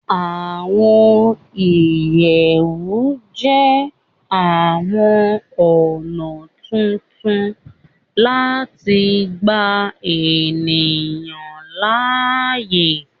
Àwọn ìyẹ̀wù jẹ́ àwọn ọ̀nà tuntun láti gbà ènìyàn láàyè